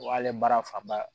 O y'ale baara fanba ye